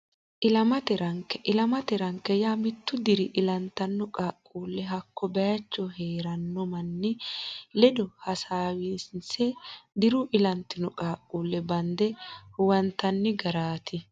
Ilamate Ranke Ilamate ranke yaa mittu diri ilantino qaaqquulle hakko baycho hee ranno manni ledo heewisiinse diru ilantino qaaqquulle bande huwantanni garaati.